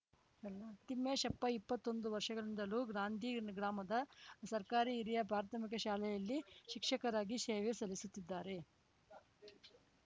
ತಿಮ್ಮೇಶಪ್ಪ ಇಪ್ಪತ್ತೊಂದು ವರ್ಷಗಳಿಂದಲೂ ಗ್ರಾಂಧಿ ಗ್ರಾಮದ ಸರ್ಕಾರಿ ಹಿರಿಯ ಪ್ರಾಥಮಿಕ ಶಾಲೆಯಲ್ಲಿ ಶಿಕ್ಷಕರಾಗಿ ಸೇವೆ ಸಲ್ಲಿಸುತ್ತಿದ್ದಾರೆ